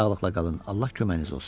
Sağlıqla qalın, Allah köməyiniz olsun!